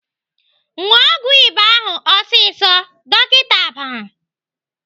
"Ṅụọ ọgwụ ịba ahụ ọsịsọ!" Dọkịta bara.